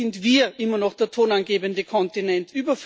Hier sind wir immer noch der tonangebende Kontinent.